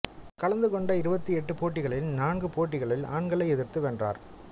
கலந்து கொண்ட இருபத்தி எட்டு போட்டிகளில் நான்கு போட்டிகளில் ஆண்களை எதிர்த்து வென்றார்